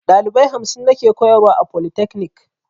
Dalibai hamsin nake koyarwa a folitakanik